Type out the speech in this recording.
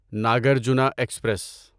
Nagarjuna express